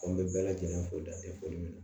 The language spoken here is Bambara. An bɛ bɛɛ lajɛlen fo dan tɛ foli min na